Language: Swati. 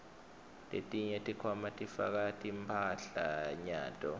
letinye tikhwama sifaka timphahlanyato